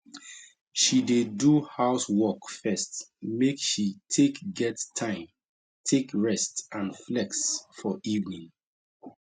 she dey do house work first make she take get time take rest and flex for evening